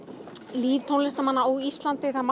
líf tónlistarmanna á Íslandi að